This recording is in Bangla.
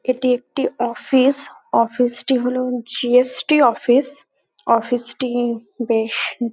এটি একটি অফিস অফিস -টি হল G .S .T office office -টি বেশ--